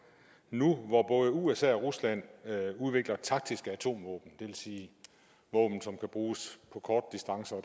nu hvor både usa og rusland udvikler taktiske atomvåben det vil sige våben som kan bruges på korte distancer og